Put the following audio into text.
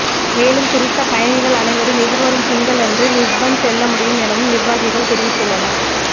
மேலும் குறித்த பயணிகள் அனைவரும் எதிர்வரும் திங்கள் அன்றே லிஸ்பன் செல்ல முடியும் எனவும் நிர்வாகிகள் தெரிவித்துள்ளனர்